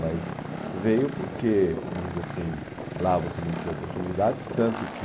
Mas veio porque, vamos dizer assim, lá você não tinha oportunidades, tanto que